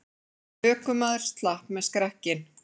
Ökumaður slapp með skrekkinn